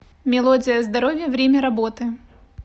мелодия здоровья время работы